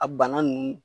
A bana nunnu